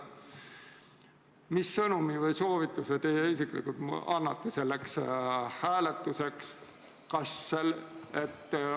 Mis sõnumi või soovituse te isiklikult annate selleks hääletuseks?